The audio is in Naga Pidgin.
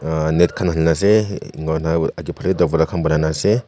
uh net khan halina ase inika hoina agey phali hee banai nah ase.